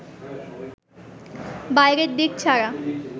বাইরের দিক ছাড়া